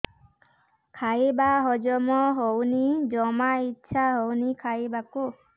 ଖାଇବା ହଜମ ହଉନି ଜମା ଇଛା ହଉନି ଖାଇବାକୁ